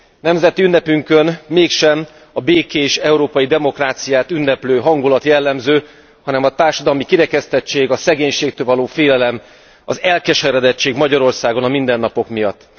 Nemzeti ünnepünkön mégsem a békés európai demokráciát ünneplő hangulat jellemző, hanem a társadalmi kirekesztettség, a szegénységtől való félelem, az elkeseredettség Magyarországon a mindennapok miatt.